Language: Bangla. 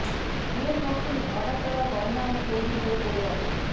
বিয়ের মরশুমে অর্ডার দেওয়া গয়নাও তৈরি হয়ে পড়ে আছে